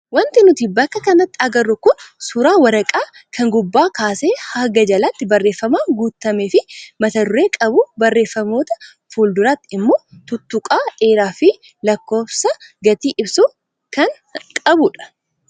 Wanti nuti bakka kanatti agarru kun suuraa waraqaa kan gubbaa kaasee haga jalaatti barreeffamaan guutamee fi mat duree qabu barreeffamoota fuulduratti immoo tuttuqaa dheeraa fi lakkoofsa gatii ibsu kan qabudha.